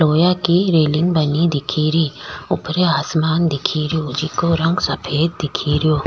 लोहा की रेलिंग बनी दिख री ऊपर आसमान दिख रियो जिको रंग सफ़ेद दिख रियो।